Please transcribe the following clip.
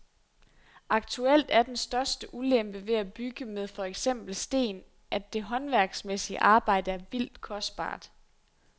Aktuelt er den største ulempe ved at bygge med for eksempel sten, at det håndværksmæssige arbejde er vildt kostbart.